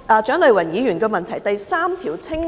蔣麗芸議員的主體質詢第三部分相當